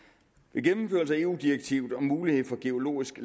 med gennemførelse af eu direktivet om mulighed for geologisk